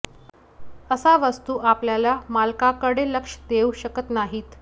अशा वस्तू आपल्या मालकाकडे लक्ष देऊ शकत नाहीत